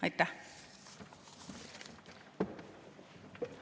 Aitäh!